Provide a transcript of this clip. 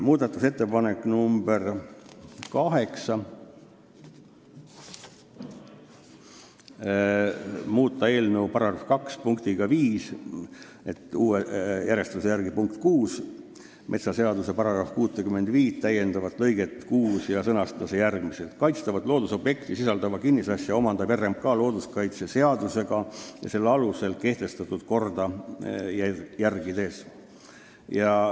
Muudatusettepanek nr 8: "muuta eelnõu § 2 punktiga 5 metsaseaduse § 65 täiendavat lõiget 6 ja sõnastada see järgmiselt: "kaitstavat loodusobjekti sisaldavat kinnisasja omandab RMK looduskaitseseaduses ja selle alusel kehtestatud korda järgides".